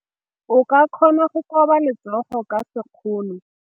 O ka kgona go koba letsogo ka sekgono.